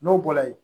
N'o bɔra yen